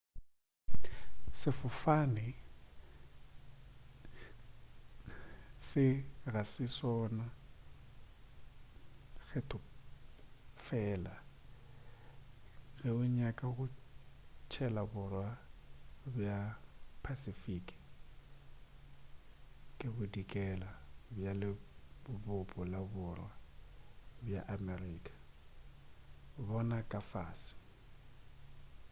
sefofane se ga se sona kgetho fela ge o nyaka go tshela borwa bja phasifiki le bodikela bja lebopo la borwa bja amerika. bona ka fase